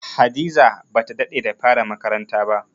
Hadiza ba ta daɗe da fara makaranta ba.